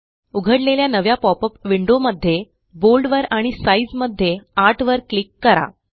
उघडलेल्या नव्या पॉपअप विंडोमध्ये बोल्ड वर आणि साइझ मध्ये आठवर क्लिक करा